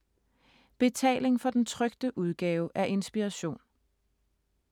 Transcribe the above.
Betaling for den trykte udgave af Inspiration